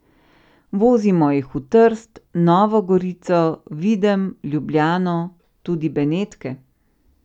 Vozimo jih v Trst, Novo Gorico, Videm, Ljubljano, tudi Benetke.